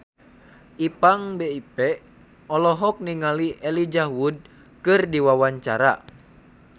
Ipank BIP olohok ningali Elijah Wood keur diwawancara